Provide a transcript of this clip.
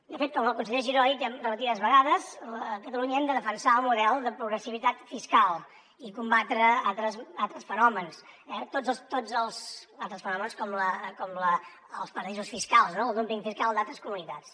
de fet com el conseller giró ha dit ja repetides vegades a catalunya hem de defensar el model de progressivitat fiscal i combatre altres fenòmens eh tots els altres fenòmens com els paradisos fiscals no el dúmping fiscal d’altres comunitats